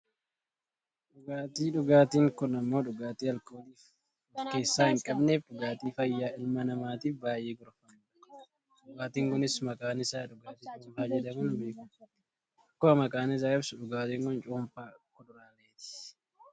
Dhugaatii, dhugaatiin kun ammoo dhugaatii aalkolii of keessaa hin qabneefi dhugaatii fayyaa ilma namaatiif baayyee gorfamudha. dhugaatiin kunis maqaan isaa dhugaatii cuunfaa jedhamuun beekkama. akkuma maqaan isaa ibsu dhugaatiin kun cuunfaa kuduraaleeti.